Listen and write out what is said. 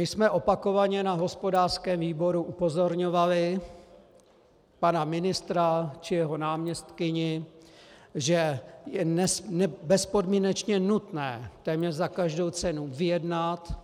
My jsme opakovaně na hospodářském výboru upozorňovali pana ministra či jeho náměstkyni, že je bezpodmínečně nutné téměř za každou cenu vyjednat